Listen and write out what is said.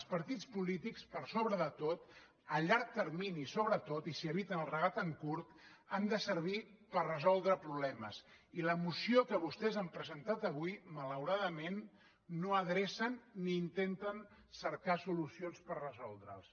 els partits polítics per sobre de tot a llarg termini sobretot i si eviten el regat en curt han de servir per resoldre problemes i a la moció que vostès han presentat avui malauradament no adrecen ni intenten cercar solucions per resoldre’ls